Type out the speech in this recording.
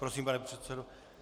Prosím, pane předsedo.